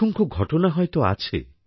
অসংখ্য ঘটনা হয়ত আছে